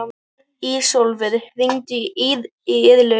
Ísólfur, hringdu í Irlaug.